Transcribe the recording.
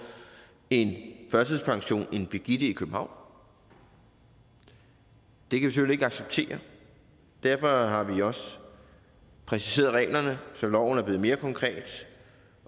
en førtidspension end birgitte i københavn det kan vi selvfølgelig ikke acceptere og derfor har vi også præciseret reglerne så loven er blevet mere konkret